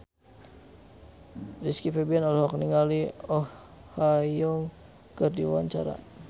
Rizky Febian olohok ningali Oh Ha Young keur diwawancara